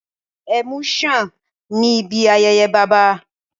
Ẹmu ń ṣàn ní ibi ayẹyẹ Bàbá